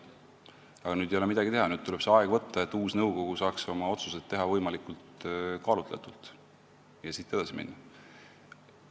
Aga nüüd ei ole midagi teha, tuleb see aeg võtta, et uus nõukogu saaks oma otsused teha võimalikult kaalutletult ja edasi minna.